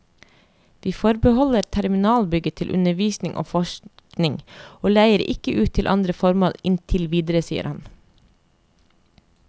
Vi forbeholder terminalbygget til undervisning og forskning og leier ikke ut til andre formål inntil videre, sier han.